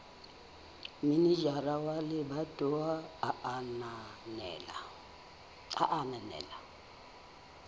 manejara wa lebatowa a ananela